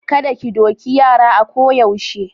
Kada ki doki yara a ko yaushe.